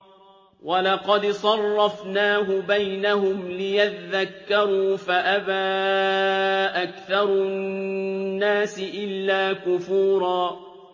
وَلَقَدْ صَرَّفْنَاهُ بَيْنَهُمْ لِيَذَّكَّرُوا فَأَبَىٰ أَكْثَرُ النَّاسِ إِلَّا كُفُورًا